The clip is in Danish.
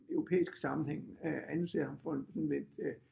Europæisk sammenhæng øh anser ham for en en lidt øh